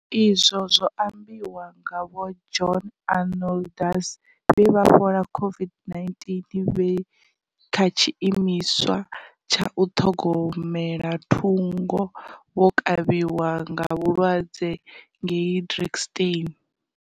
Izwi zwo ambiwa nga Vho John Arnoldus, vhe vha fhola COVID-19 vhe kha tshiimiswa tsha u ṱhogomela thungo vho kavhiwa nga vhulwadze ngei Drakenstein.